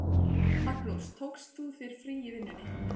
Magnús: Tókst þú þér frí í vinnunni?